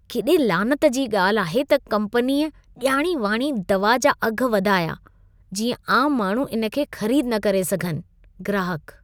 केॾे लानत जी ॻाल्हि आहे त कम्पनीअ ॼाणी वाणी दवा जा अघ वधाया, जीअं आम माण्हू इन खे ख़रीद न करे सघनि। (ग्राहक)